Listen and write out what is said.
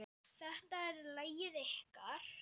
Þetta er lagið ykkar.